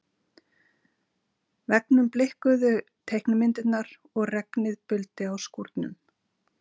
veggnum blikkuðu teiknimyndirnar og regnið buldi á skúrnum.